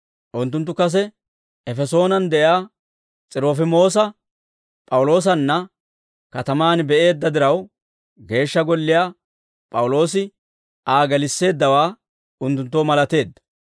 Unttunttu kase Efesoonen de'iyaa S'irofimoosa P'awuloosanna katamaan be'eedda diraw, Geeshsha Golliyaa P'awuloosi Aa gelisseeddawaa unttunttoo malateedda.